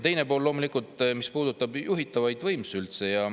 Teine osa loomulikult puudutab üldse juhitavaid võimsusi.